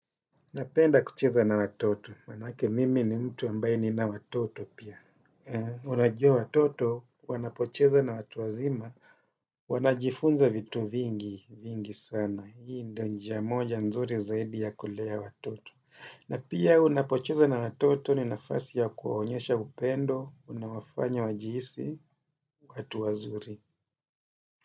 Napenda kucheza na watoto. Maanake mimi ni mtu ambaye nina watoto pia. Unajua watoto, wanapocheza na watu wazima, wanajifunza vitu vingi vingi sana. Hii ndo njia moja nzuri zaidi ya kulea watoto. Na pia unapocheza na watoto ni nafasi ya kuwaonyesha upendo, unawafanya wajihisi, watu wazuri.